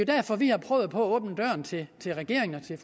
derfor vi har prøvet på at åbne døren til regeringen og til